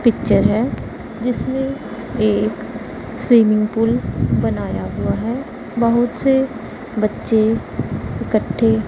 picture है जिसमें एक स्विमिंग पूल बनाया हुआ है बहुत से बच्चे इकट्ठे--